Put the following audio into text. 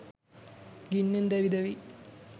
ගින්නෙන් දැවි දැවී